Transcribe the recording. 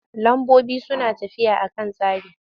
Lambobi suna tafiya a kan tsari.